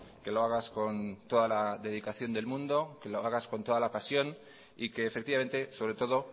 que lo hagas con toda la dedicación del mundo que lo hagas con toda la pasión y que efectivamente sobre todo